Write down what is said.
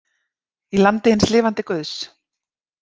Í landi hins lifanda guðs.